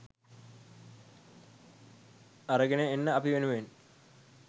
අරගෙන එන්න අපි වෙනුවෙන්